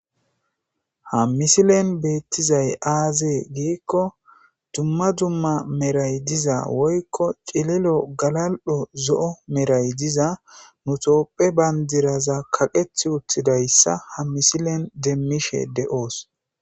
Ha misilen beettizay aazee giikko dumma dumma meray diza woykko cililo galal7o zo7o meray diza nutopphe bandiraza kaqeth uttidayssa ha misilen demmishe de7oos